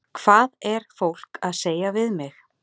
Hvað er fólk að segja við mig?